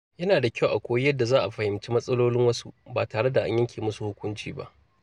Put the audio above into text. Yana da kyau a koyi yadda za a fahimci matsalolin wasu ba tare da yanke musu hukunci ba.